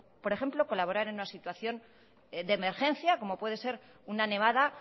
por ejemplo colaborar en una situación de emergencia como puede ser una nevada